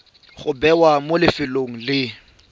go bewa mo lefelong le